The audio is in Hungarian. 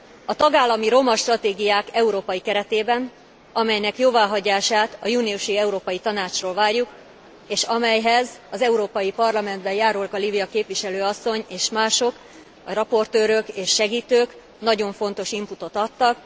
A tagállami roma stratégiák európai keretében, amelynek jóváhagyását a júniusi Európai Tanácstól várjuk, és amelyhez az Európai Parlamentben Járóka Lívia képviselő asszony és mások, a rapporteurök és segítők, nagyon fontos inputot adtak.